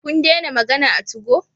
Kun dena magana a tugo?